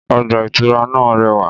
Ọgbà ìtura náà rẹwà.